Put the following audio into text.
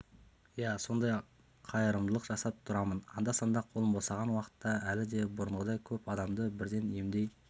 иә сондай қайырымдылық жасап тұрамын анда-санда қолым босаған уақытта әлі де бұрынғыдай көп адамды бірден емдей